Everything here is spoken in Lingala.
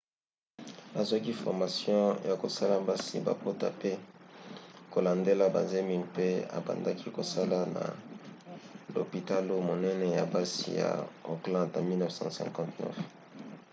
azwaki formation ya kosalisa basi babota pe kolandela bazemi mpe abandaki kosala na lopitalo monene ya basi ya auckland na 1959